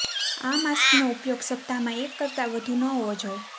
આ માસ્કનો ઉપયોગ સપ્તાહમાં એક કરતા વધુ ન હોવો જોઈએ